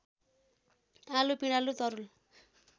आलु पिँडालु तरुल